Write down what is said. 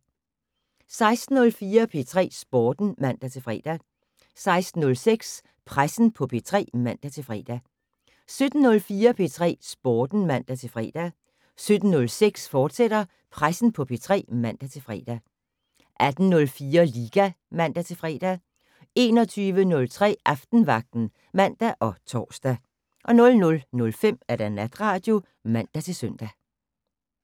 16:04: P3 Sporten (man-fre) 16:06: Pressen på P3 (man-fre) 17:04: P3 Sporten (man-fre) 17:06: Pressen på P3, fortsat (man-fre) 18:04: Liga (man-fre) 21:03: Aftenvagten (man og tor) 00:05: Natradio (man-søn)